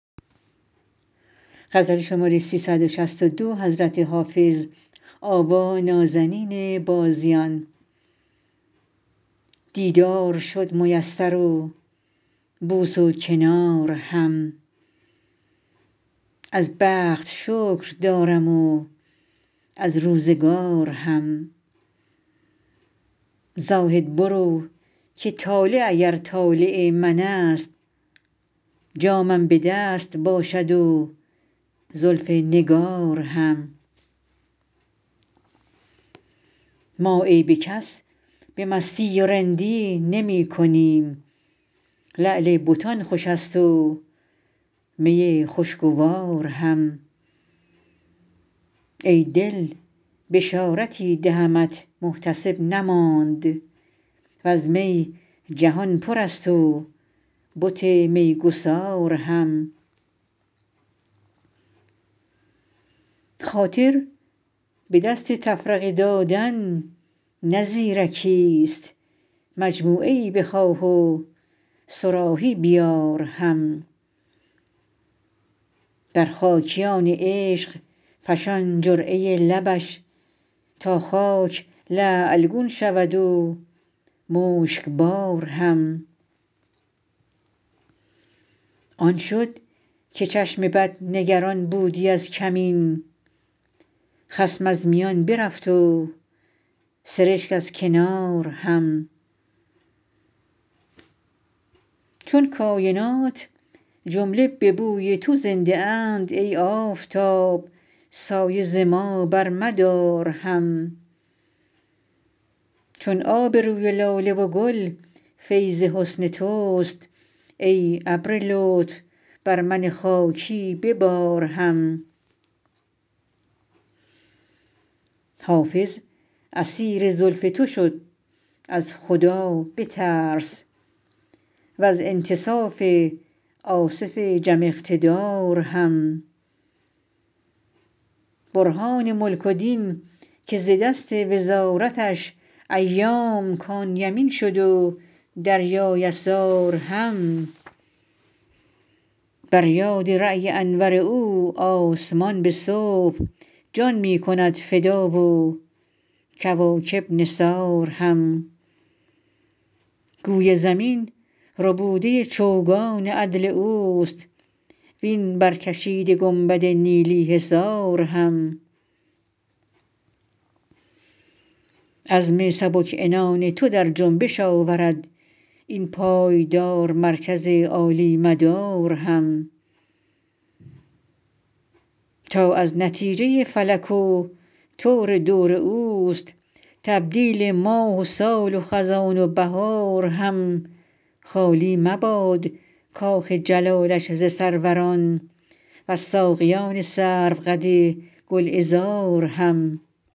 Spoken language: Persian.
دیدار شد میسر و بوس و کنار هم از بخت شکر دارم و از روزگار هم زاهد برو که طالع اگر طالع من است جامم به دست باشد و زلف نگار هم ما عیب کس به مستی و رندی نمی کنیم لعل بتان خوش است و می خوشگوار هم ای دل بشارتی دهمت محتسب نماند و از می جهان پر است و بت میگسار هم خاطر به دست تفرقه دادن نه زیرکیست مجموعه ای بخواه و صراحی بیار هم بر خاکیان عشق فشان جرعه لبش تا خاک لعل گون شود و مشکبار هم آن شد که چشم بد نگران بودی از کمین خصم از میان برفت و سرشک از کنار هم چون کاینات جمله به بوی تو زنده اند ای آفتاب سایه ز ما برمدار هم چون آب روی لاله و گل فیض حسن توست ای ابر لطف بر من خاکی ببار هم حافظ اسیر زلف تو شد از خدا بترس و از انتصاف آصف جم اقتدار هم برهان ملک و دین که ز دست وزارتش ایام کان یمین شد و دریا یسار هم بر یاد رای انور او آسمان به صبح جان می کند فدا و کواکب نثار هم گوی زمین ربوده چوگان عدل اوست وین برکشیده گنبد نیلی حصار هم عزم سبک عنان تو در جنبش آورد این پایدار مرکز عالی مدار هم تا از نتیجه فلک و طور دور اوست تبدیل ماه و سال و خزان و بهار هم خالی مباد کاخ جلالش ز سروران و از ساقیان سروقد گلعذار هم